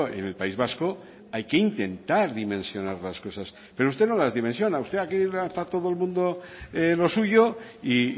en el país vasco hay que intentar dimensionar las cosas pero usted no las dimensiona usted aquí está todo el mundo a lo suyo y